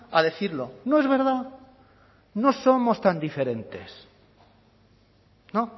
a decirlo no es verdad no somos tan diferentes no